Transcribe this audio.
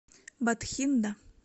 батхинда